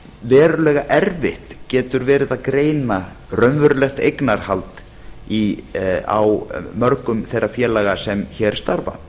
verulega erfitt getur verið að greina raunverulegt eignarhald á mörgum þeirra félaga sem hér starfa